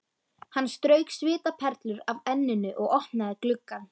Hann strauk svitaperlur af enninu og opnaði gluggann.